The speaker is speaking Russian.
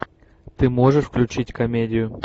ты можешь включить комедию